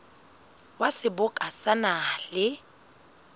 wa seboka sa naha le